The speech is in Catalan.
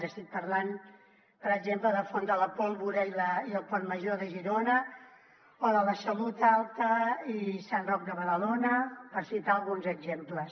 i estic parlant per exemple de font de la pólvora i el pont major de girona o de la salut alta i sant roc de badalona per citar ne alguns exemples